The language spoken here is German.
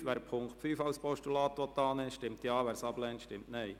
Wer den Punkt 5 als Postulat annehmen will, stimmt Ja, wer dies ablehnt, stimmt Nein.